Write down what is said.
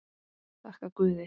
Þakka guði.